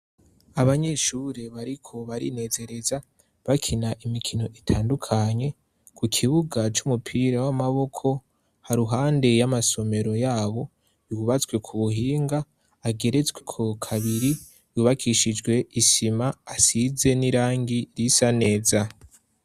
Abanyeshuri bariko barinezereza bakina imikino itandukanye ku kibuga c'umupira w'amaboko haruhande y'amasomero yabo biwubatswe ku buhinga ageretswe ku kabiri yubakishijwe isima asize n'irangi risa neza.